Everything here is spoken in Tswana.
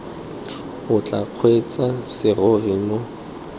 o tla kgweetsang serori mo